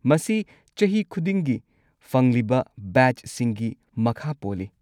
ꯃꯁꯤ ꯆꯍꯤ ꯈꯨꯗꯤꯡꯒꯤ ꯐꯪꯂꯤꯕ ꯕꯦꯆꯁꯤꯡꯒꯤ ꯃꯈꯥ ꯄꯣꯜꯂꯤ꯫